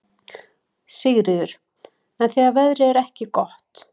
Sigríður: En þegar veðrið er ekki gott?